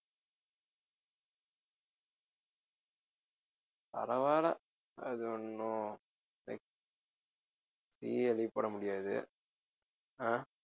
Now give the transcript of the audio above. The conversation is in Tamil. பரவால்ல அது ஒண்ணும் நீயே leave போட முடியாது அஹ்